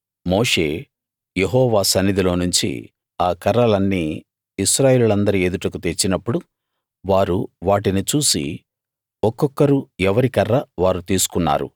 మోషే యెహోవా సన్నిధిలోనుంచి ఆ కర్రలన్నీ ఇశ్రాయేలీయులందరి ఎదుటకు తెచ్చినప్పుడు వారు వాటిని చూసి ఒక్కొక్కరూ ఎవరి కర్ర వారు తీసుకున్నారు